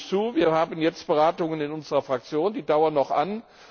Das sage ich zu. Wir haben jetzt Beratungen in unserer Fraktion, die dauern noch